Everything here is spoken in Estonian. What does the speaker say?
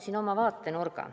Pakun oma vaatenurga.